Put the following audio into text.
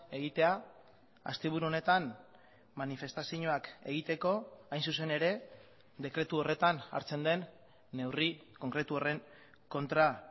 egitea asteburu honetan manifestazioak egiteko hain zuzen ere dekretu horretan hartzen den neurri konkretu horren kontra